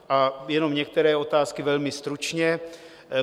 A jenom některé otázky velmi stručně.